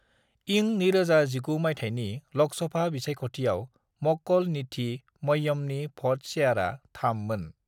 इं 2019 माइथायनि लोकसभा बिसायखथियाव मक्कल नीधि मय्यमनि भट शेयरआ 3 मोन।